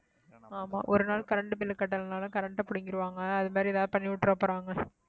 ஆமா ஒரு நாள் current bill கட்டலைன்னாலும் current அ புடுங்கிருவாங்க அது மாதிரி எதாவது பண்ணி விட்டுற போறாங்க